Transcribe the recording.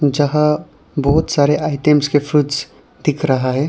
यहां बहुत सारे आइटम्स के फ्रूट्स दिख रहा है।